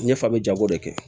Ɲɛ fa bɛ jago de kɛ